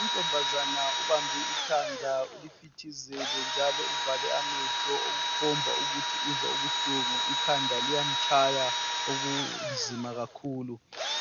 Untombazana ubambe ikhanda ulifithizele njalo uvale amehlo okukhomba ukuthi uzwa ubuhlungu ikhanda liyamtshaya okunzima kakhulu